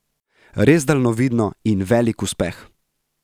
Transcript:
Res daljnovidno in velik uspeh!